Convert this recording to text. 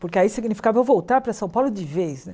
Porque aí significava eu voltar para São Paulo de vez, né?